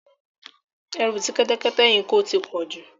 Ẹrù tí kẹ́tẹ́kẹ́tẹ́ yìí ń ko ti pọ̀ jù.